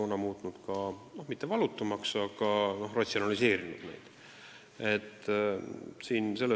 See ei oleks neid küll valutumaks muutnud, aga ratsionaalsemaks küll.